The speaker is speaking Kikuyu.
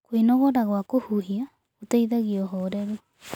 Kwĩnogora gwa kũhũhĩa gũteĩthagĩa ũhorerũ